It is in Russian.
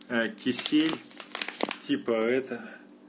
кисель типа это